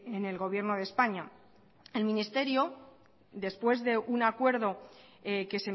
en el gobierno de españa el ministerio después de un acuerdo que